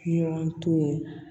Ɲɔgɔn to ye